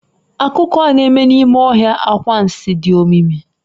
Akụkọ a na-eme n'ime ọhịa anwansi, dị omimi.